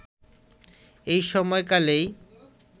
এই সময় কালেই